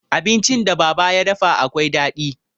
Abincin da baba ya dafa akwai daɗi.